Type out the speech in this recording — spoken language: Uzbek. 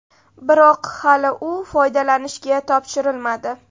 Biroq hali u foydalanishga topshirilmadi.